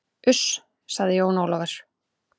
Uss, sagði Jón Ólafur.